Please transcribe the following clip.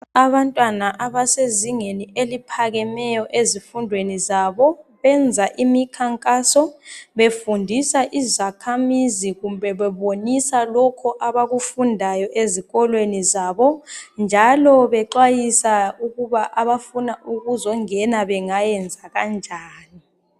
Abantwana abasezingeni eliphakemeyo ezifundweni zabo benza imikhankaso befundisa izakhamizi kumbe bebonisa lokho abakwenzayo ezikolweni zabo. Bayaxwayisa labo abafuna ukuzengena ukuthi bangayenza njani.